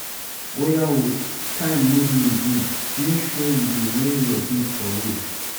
Oya ooo, time no dey again, make sure you dey wear your bead for waist.